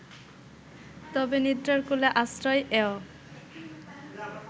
তবে নিদ্রার কোলে আশ্রয় এয়